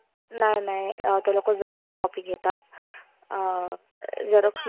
नाय नाय, ते लोक xerox copy घेतात. अं zerox